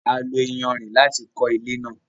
A lo iyanrìn láti kọ ilé náà